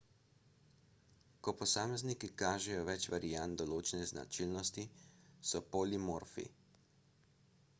ko posamezniki kažejo več variant določene značilnosti so polimorfni